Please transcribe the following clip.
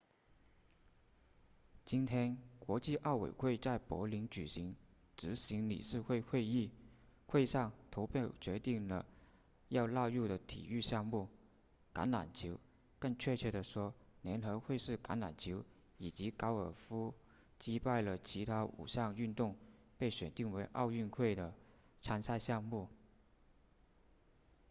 今天国际奥委会在柏林举行执行理事会会议会上投票决定了要纳入的体育项目橄榄球更确切地说联合会式橄榄球以及高尔夫击败了其他五项运动被选定为奥运会的参赛项目